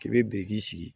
K'i bɛ biriki sigi